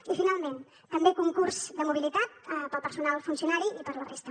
i finalment també concurs de mobilitat per al personal funcionari i per a la resta